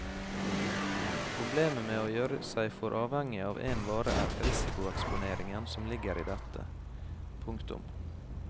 Problemet med å gjøre seg for avhengig av én vare er risikoeksponeringen som ligger i dette. punktum